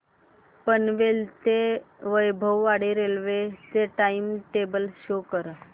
पनवेल ते वैभववाडी रेल्वे चे time table show करा